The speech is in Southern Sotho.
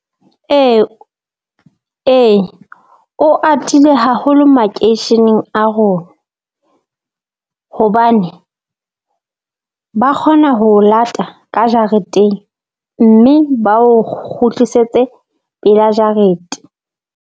Ee, ee o atile haholo makeisheneng a rona, hobane ba kgona ho o lata ka jareteng mme ba o kgutlisetse pela jarete.